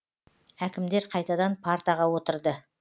әкімдер қайтадан партаға отырды